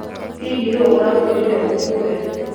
Hihi nũũ ũrakwĩrire ũũke?